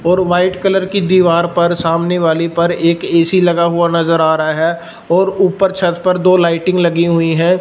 और white colour की दीवार पर सामने वाली पर एक ए_सी लगा हुआ नजर आ रहा है और ऊपर छत पर दो लाइटिंग लगी हुई है।